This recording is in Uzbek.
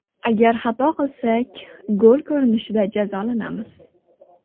Agar xato qilsak, gol ko‘rinishida jazolanamiz.